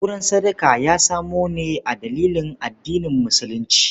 Auren sadaka ya samu ne a dalilin addinin musulunci.